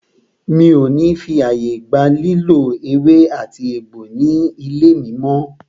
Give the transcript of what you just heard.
Mi o ní fí ààyè gba lílò ewé àti egbò ní ilé mí mọ́!